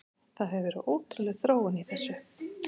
Það hefur verið ótrúleg þróun í þessu.